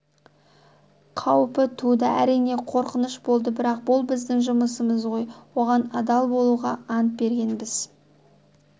қаупі туды әрине қорқыныш болды бірақ бұл біздің жұмысымыз ғой оған адал болуға ант бергенбіз